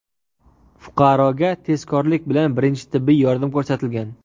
Fuqaroga tezkorlik bilan birinchi tibbiy yordam ko‘rsatilgan.